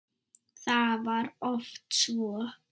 Það var oft svo.